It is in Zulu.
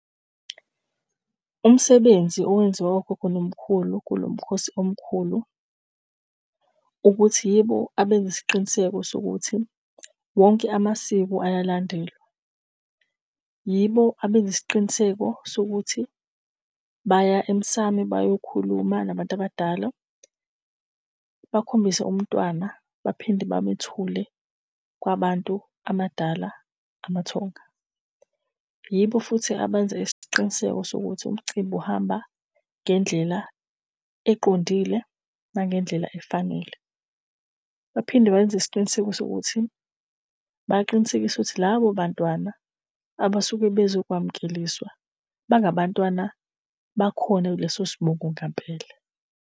Umsebenzi owenziwe ogogo nomkhulu kulo mkhosi omkhulu, ukuthi yibo abenza isiqiniseko sokuthi wonke amasiko ayalandelwa. Yibo abenza isiqiniseko sokuthi baya emsamu bayokhuluma nabantu abadala, bakhombise umntwana, baphinde bamethule kwabantu abadala, amathonga. Yibo futhi abenze isiqiniseko sokuthi umcimbi uhamba ngendlela eqondile nangendlela efanele. Baphinde benze isiqiniseko sokuthi baqinisekise ukuthi labo bantwana abasuke bezokwamukeliswa bangabantwana bakhona kuleso sibongo ngampela